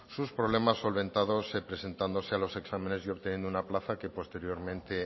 sus problemas solventados presentándose a los exámenes y obteniendo una plaza que posteriormente